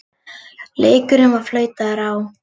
Leikurinn var flautaður á.